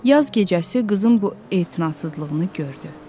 Yaz gecəsi qızın bu etinasızlığını gördü.